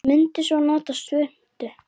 Munum svo að nota svuntu.